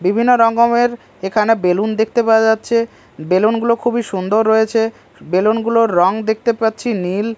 বিভিন্ন রকমের এখানে বেলুন দেখতে পাওয়া যাচ্ছে বেলুন -গুলো খুবই সুন্দর রয়েছে বেলুন -গুলোর রং দেখতে পাচ্ছি নীল।